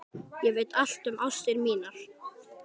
Ég veit allt um ástir mínar.